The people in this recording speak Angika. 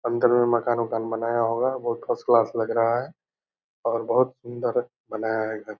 अंदर में मकान उकान बनाया होगा बहुत फर्स्ट क्लास लग रहा है और बहुत सुंदर बनाया है घर।